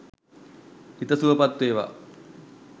හිත සුවපත් වේවා